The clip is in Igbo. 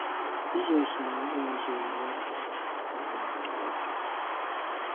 Jisọs n’onwe ya zoro aka n’azịza nke ajụjụ ahụ.